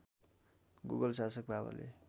मुगल शासक बाबरले